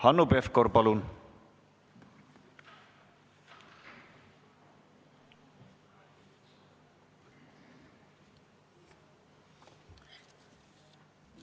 Hanno Pevkur, palun!